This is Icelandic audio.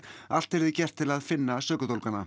allt yrði gert til að finna sökudólgana